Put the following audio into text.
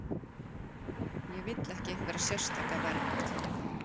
Ég vill ekki einhverja sérstaka vernd.